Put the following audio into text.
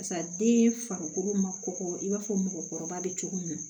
Barisa den farikolo ma kɔkɔ i b'a fɔ mɔgɔkɔrɔba be cogo min na